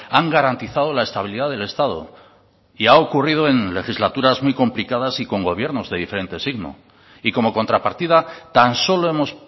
han garantizado la estabilidad del estado y ha ocurrido en legislaturas muy complicadas y con gobiernos de diferente signo y como contrapartida tan solo hemos